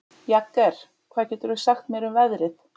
Jagger, hvað geturðu sagt mér um veðrið?